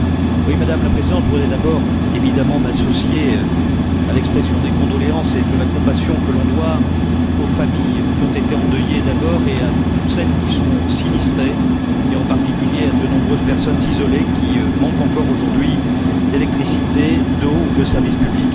Madame la Présidente, je voudrais d'abord, évidemment, m'associer à l'expression des condoléances et de la compassion que l'on doit aux familles qui ont été endeuillées d'abord, et à toutes celles qui sont sinistrées, en particulier à de nombreuses personnes isolées qui manquent encore aujourd'hui d'électricité, d'eau ou de services publics.